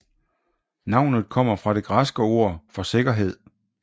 Navnet kommer fra det græske ord for sikkerhed